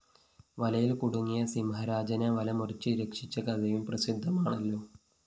വലയില്‍ കുടുങ്ങിയ സിംഹരാജനെ വല മുറിച്ച് രക്ഷിച്ച കഥയും പ്രസിദ്ധമാണല്ലോ